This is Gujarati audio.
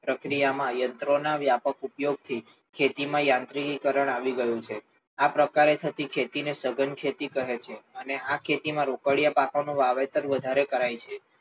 પ્રકિયા માં યંત્રો ના વ્યાપક ઉપયોગ થી ખેતી માં યંત્રિકીકરણ આવી ગયું છે. આ પ્રકારે થતી ખેતી ને સઘન ખેતી કહે છે. અને આ પ્રકાર થતી ખેતી માં રોકડીયા પાકો નું વાવેતર વધારે કરાય છે.